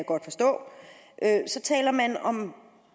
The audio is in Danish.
godt forstå taler man om